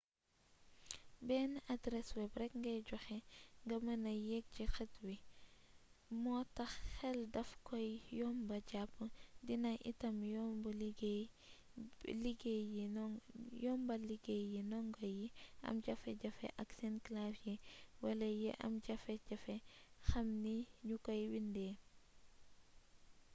benn adres web rek ngay joxe nga mëna yegg ci xët wii moo tax xel daf koy yomba jàpp dina itam yombal liggéey bi ndongo yi am jafe-jafe ak seen clavier wala yi am jafe-jafe xam ni ñu koy bindee